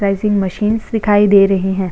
Machines दिखाई दे रही है।